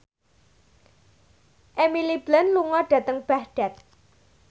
Emily Blunt lunga dhateng Baghdad